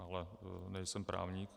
Ale nejsem právník.